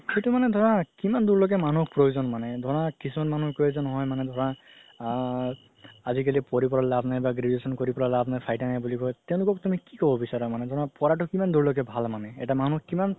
সেইটো মানে ধৰা কিমান দুৰলৈ মানুহ প্ৰয়োজন মানে ধৰা কিছুমান মানুহৰ প্ৰয়োজন হয় ধৰা আ আজিকালি পঢ়ি পেলাই লাভ নাই বা graduation কৰি লাভ নাই তেওলোকক তুমি কি ক'ব বিচৰা মানে ধৰা পঢ়াতো কিমান দুৰলৈকে ভাল মানে এটা মানুহ কিমান